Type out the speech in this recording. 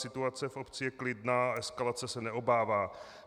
Situace v obci je klidná, eskalace se neobává.